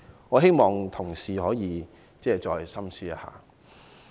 我希望同事深思一下。